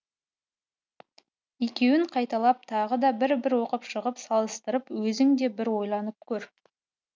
екеуін қайталап тағы да бір бір оқып шығып салыстырып өзің де бір ойланып көр